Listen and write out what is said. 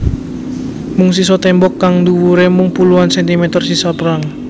Mung sisa tembok kang dhuwure mung puluhan sentimeter sisa perang